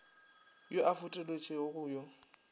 yo a fetoletšwego go yo